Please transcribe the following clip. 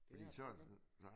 Fordi så er det sådan